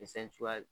cogoya